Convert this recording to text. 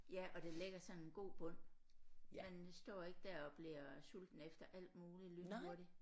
Ja og det lægger sådan en god bund man står ikke der og bliver sulten efter alt muligt lynhurtigt